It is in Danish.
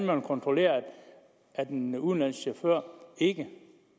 vil kontrollere at en udenlandsk chauffør ikke